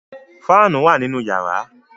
Fáànù wà nínú yàrá.